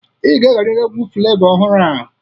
Ị ga-egeriri egwu Flevọ ọhụrụ a.